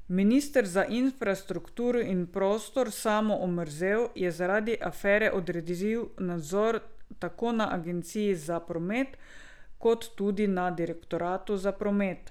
Minister za infrastrukturo in prostor Samo Omerzel je zaradi afere odredil nadzor tako na agenciji za promet kot tudi na direktoratu za promet.